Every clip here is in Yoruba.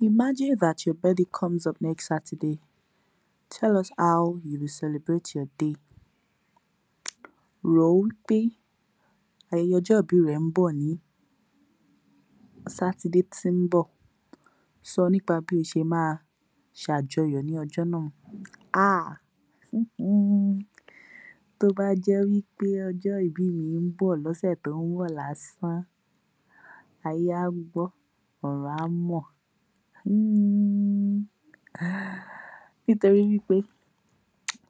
(Imagine that your birthday comes up next Saturday, tell us how you will celebrate your day.) Rò ó wí pé ọjọ́ ìbí rẹ ń bọ̀ ní Sátidé tí ń bọ̀, sọ nípa bí o ṣe máa ṣ’àjọyọ̀ ní ọjọ́ náà. Aaah hmmm Tó bá jẹ́ wí pé ọjọ́ ìbí mi ń bọ̀ l’ọ́sè tó ń bọ̀ lásán, ayé á gbọ́ ọ̀run á mọ̀. mhhhhahh ..nítori wí pé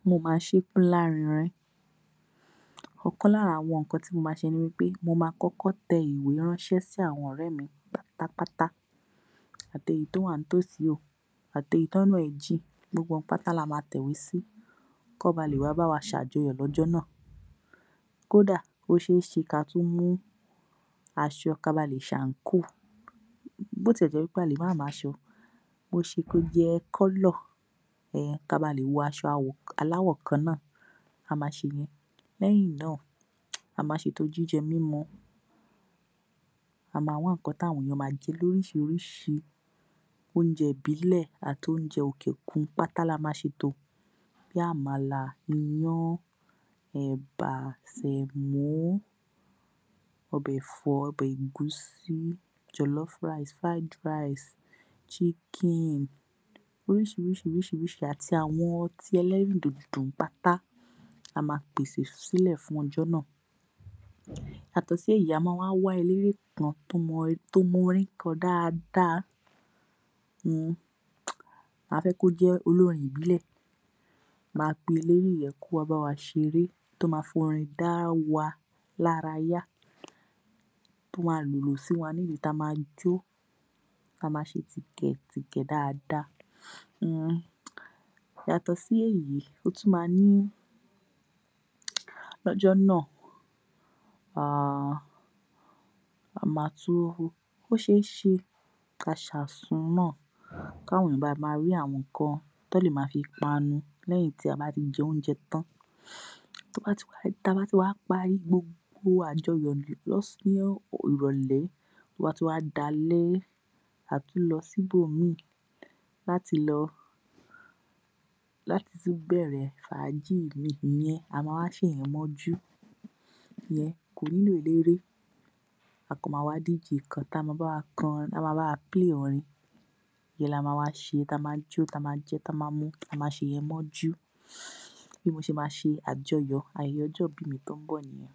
mó máa ṣe é kó lárinrin. Ọ̀kan l’ára àwọn nǹkan tí mo máa ṣe ni pé mo máa kọ́kọ́ tẹ ìwé ránṣẹ́ sí àwọn ọ̀rẹ́ mi pátápátá, àti èyí tó wà ní tòsí o àti èyí t’ọ́nà ẹ̀ jìn, gbogbo wọn pátá la ma tẹ iwé sí, kán lè bá wa ṣe àjọyọ̀ l’ọ́jọ́ náà. Kódà, ó ṣeé ṣé ká tún mú aṣọ ka ba lè ṣàǹkóò, bó ti ẹ̀ jẹ́ wí pé a le má mú aṣọ, bó ṣe kó jẹ́ (colour) ka ba lè wọ aṣọ aláwọ̀ kan náà, a máa ṣèyẹn. Lẹ́yìn náà, a máa ṣ’ètò jíjẹ mímu, a máa wá nǹkan t’áwọn èèyàn máa jẹ, l’oríṣiiríṣii, óúnjẹ ìbílẹ̀ àt’oúnjẹ òkè òkun pátá la máa ṣ’ètò bí i àmàlà, iyán, ẹ̀bà, sèmó, ọbẹ̀ ẹ̀fọ́, ọbẹ̀ ẹ̀gúsí, (jollof rice, fried rice, chicken), oríṣiirísii ríṣii ríṣii, àt’àwọn ọtí ẹlẹ́rìn dòdò pátá, a máa pèsè sílẹ̀ fún ọjọ́ náà. Yàtọ̀ sí èyí, a máa wá wá elére kan tó mọ orin kọ dáadáa. hmm Mà á fẹ́ kó jẹ́ olórin ìbílẹ̀. Màá pe eléré yẹn kó wá báwa ṣeré, tó ma f’ọrin dá wa lára yá, tó ma lìlù síwa nídìí ta ma jó, ta ma ṣe tìkẹ̀ tìkẹ̀ dáadáa. hmm Yàtọ̀ sí èyí, ó tún máa ní…l’ọ́jọ́ náà. Ahh, a máa tún…Ó ṣeé ṣe ká ṣ’àsun náà kí àwọn èèyàn ba máa ní àwọn nǹkan tán lè máa fi panu lẹ́yìn tí a bá ti jẹ óúnjẹ tán. Tó bá ti wá…ta bá ti wá parí gbogbo àjọyọ̀ ní ìrọ̀lẹ́, tó bá tún wá di alẹ́, àá tún lọ sí ibòmíì, láti lọ, láti tún bẹ̀rẹ̀ fàájì míì ìyẹn a máa ẃa ṣèyẹn mọ́jú. Ìyẹn kò nílò eléré. A kàn máa wá DJ kan tá ma báwa k’ọrin (play) ọrin, ìyẹn la ma wá ṣe, ta ma jó, ta ma jẹun, ta ma ṣèyẹn mọ́jú. Bí mo ṣe ma ṣ’ayẹyẹ ọjọ́ ìbí mi tó ń bọ̀ nìyẹn.